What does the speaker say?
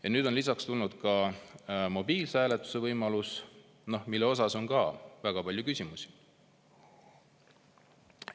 Ja nüüd on lisaks jutuks tulnud ka mobiilse hääletuse võimalus, mille kohta on ka väga palju küsimusi.